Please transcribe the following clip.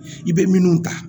I bɛ minnu ta